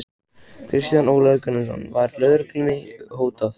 Kristján Ólafur Gunnarsson: Var lögreglunni hótað?